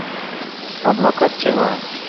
адвокат террора